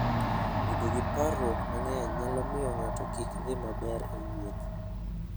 Bedo gi parruok mang'eny nyalo miyo ng'ato kik dhi maber e wuoth.